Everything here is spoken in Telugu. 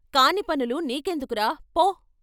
కాని పసులు నీకెందుకురా పో.